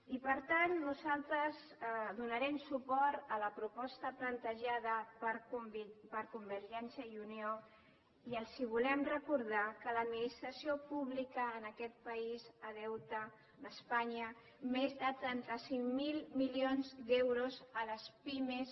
i per tant nosaltres donarem suport a la proposta plantejada per convergència i unió i els volem recordar que l’administració pública en aquest país deu d’espanya més de trenta cinc mil milions d’euros a les pimes